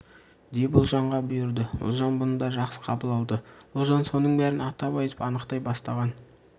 деп ұлжанға бұйырды ұлжан бұны да жақсы қабыл алды ұлжан соның бәрін атап айтып анықтай бастаған